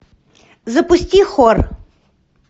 запусти хор